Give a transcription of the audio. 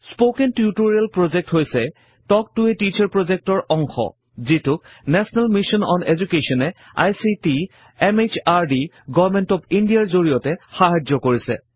spoken tutorial project হৈছে talk to a teacher project ৰ অংশ যিটোক নেশ্যনেল মিছন অন Education এ ICT MHRD government of India ৰ জড়িয়তে সাহাৰ্য কৰিছে